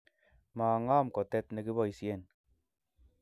maang'am kotet ne koboisien.